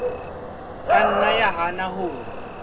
ka nna ya hana ho